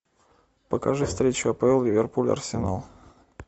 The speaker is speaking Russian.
покажи встречу апл ливерпуль арсенал